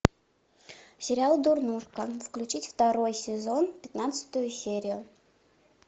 сериал дурнушка включить второй сезон пятнадцатую серию